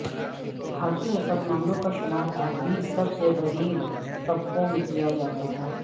بھارتی مسلمانوں کا شمار اب بھی سب سے غریب طبقوں میں کیا جاتا ہے